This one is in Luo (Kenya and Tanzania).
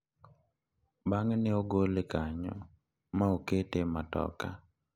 Bang`e ne ogole kanyo ma okete e matoka kochomo pacho.